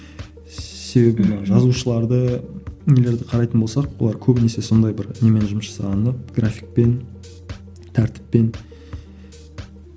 себебі мана жазушыларды нелерді қарайтын болсақ олар көбінесе сондай бір немен жұмыс жасаған да графикпен тәртіппен